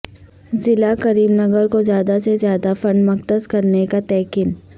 ضلع کریم نگر کو زیادہ سے زیادہ فنڈ مختص کرنے کا تیقن